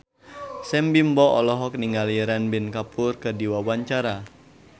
Sam Bimbo olohok ningali Ranbir Kapoor keur diwawancara